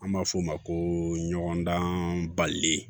An b'a f'o ma ko ɲɔgɔndan bali